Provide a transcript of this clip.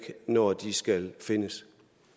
når de skal findes